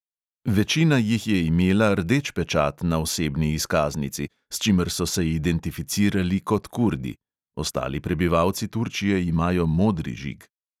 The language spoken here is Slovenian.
Večina jih je imela rdeč pečat na osebni izkaznici, s čimer so se identificirali kot kurdi (ostali prebivalci turčije imajo modri žig).